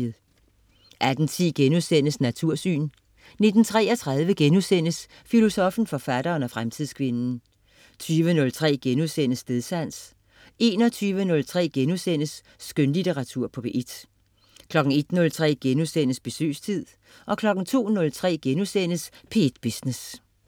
18.10 Natursyn* 19.33 Filosoffen, forfatteren og fremtidskvinden* 20.03 Stedsans* 21.03 Skønlitteratur på P1* 01.03 Besøgstid* 02.03 P1 Business*